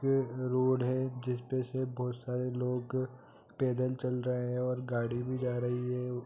यह रोड है जिसपे से बहुत सारे लोग पैदल चल रहे है और गाड़ी भी जा रही है।